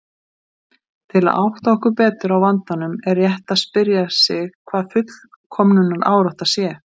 Til að átta okkur betur á vandanum er rétt að spyrja sig hvað fullkomnunarárátta sé.